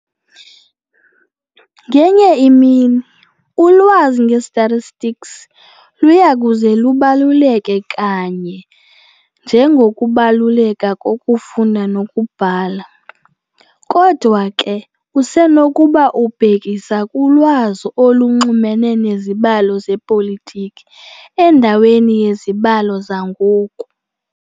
Ngenye imini, ulwazi nge-statistics luyakuze lubaluleke kanye njengokubaluleka kokufunda nokubhala. kodwa ke usenokuba ubhekisa kulwazi olunxulumene nezibalo zepolitiki endaweni yezibalo zangoku.